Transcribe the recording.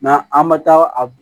an ma taa a